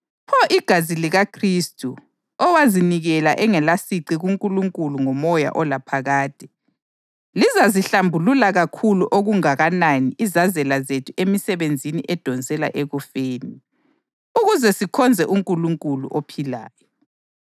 Pho igazi likaKhristu, owazinikela engelasici kuNkulunkulu ngomoya olaphakade, lizazihlambulula kakhulu okungakanani izazela zethu emisebenzini edonsela ekufeni, ukuze sikhonze uNkulunkulu ophilayo!